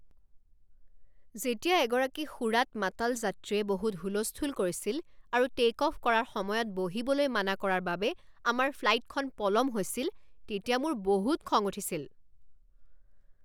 যেতিয়া এগৰাকী সুৰাত মাতাল যাত্ৰীয়ে বহুত হুলস্থুল কৰিছিল আৰু টে'ক অফ কৰাৰ সময়ত বহিবলৈ মানা কৰাৰ বাবে আমাৰ ফ্লাইটখন পলম হৈছিল তেতিয়া মোৰ বহুত খং উঠিছিল।